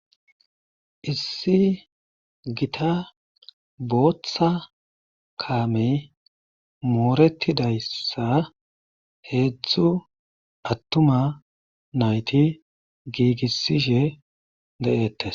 Issi gita bootha kaamey moorattidayssa heezdzu attuma nayti giigissishe de7eettees.